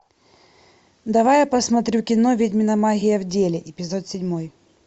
давай я посмотрю кино ведьмина магия в деле эпизод седьмой